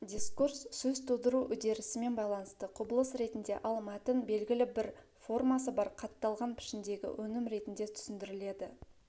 дискурс сөз тудыру үдерісімен байланысты құбылыс ретінде ал мәтін белгілі бір формасы бар қатталған пішіндегі өнім ретінде түсіндіріледі